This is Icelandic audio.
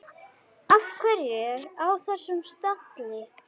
Af hverju á þessum stalli?